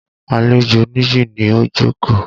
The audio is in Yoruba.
Àlejò Níyì ni ó jókòó.